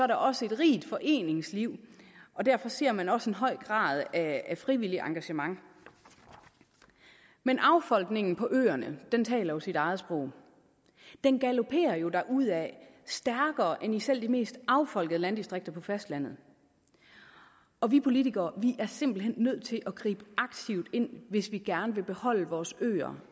der også et rigt foreningsliv og derfor ser man også en høj grad af frivilligt engagement men affolkningen på øerne taler jo sit eget sprog den galoperer jo derudad stærkere end i selv de mest affolkede landdistrikter på fastlandet og vi politikere er simpelt hen nødt til at gribe aktivt ind hvis vi gerne vil beholde vores øer